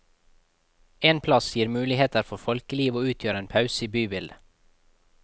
En plass gir muligheter for folkeliv og utgjør en pause i bybildet.